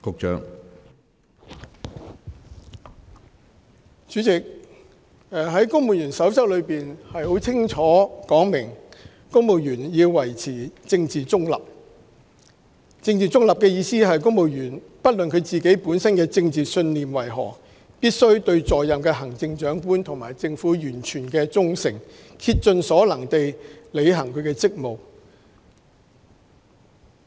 主席，《公務員守則》清楚訂明，公務員必須保持政治中立。政治中立是指不論公務員本身的政治信念為何，必須對在任的行政長官及政府完全忠誠，並竭盡所能地履行職務。